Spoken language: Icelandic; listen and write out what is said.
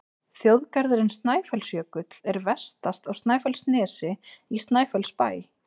Þjóðgarðurinn Snæfellsjökull er vestast á Snæfellsnesi, í Snæfellsbæ.